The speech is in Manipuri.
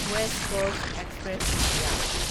west Coast Express India